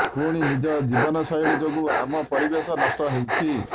ପୁଣି ନିଜ ଜୀବନଶୈଳୀ ଯୋଗୁଁ ଆମ ପରିବେଶ ନଷ୍ଟ ହେଉଛି